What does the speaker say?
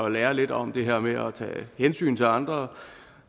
at lære lidt om det her med at tage hensyn til andre